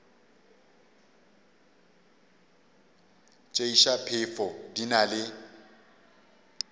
tšeiša phefo di na le